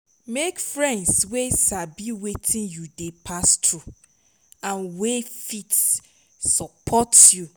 mek friends wey sabi wetin yu dey pass thru nd wey fit sopot yu